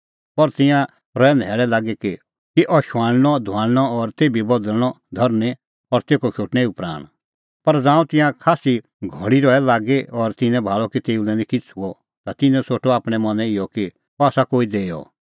पर तिंयां रहै न्हैल़ै लागी कि अह शुआणअधुआणअ और तेभी बदल़णअ धरनीं और तेखअ शोटणै एऊ प्राण पर ज़ांऊं तिंयां खास्सी घल़ी भाल़ै रहै लागी और तिन्नैं भाल़अ कि तेऊ निं किछ़ै हुअ ता तिन्नैं सोठअ आपणैं मनैं इहअ कि अह आसा कोई देअ